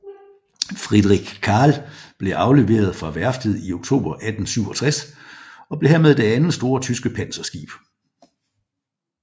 Friedrich Carl blev afleveret fra værftet i oktober 1867 og blev dermed det andet store tyske panserskib